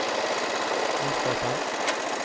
ondskapen